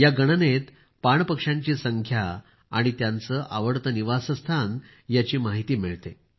या गणनेत पाण पक्ष्यांची संख्या आणि त्यांचे आवडते निवासस्थान याची माहिती मिळते